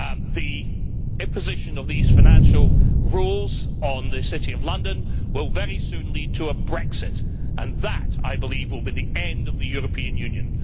The imposition of these financial rules on the City of London will very soon lead to a Brexit, and that, I believe, will be the end of the European Union.